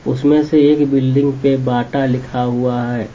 उसमें से एक बिल्डिंग पे बाटा लिखा हुआ है।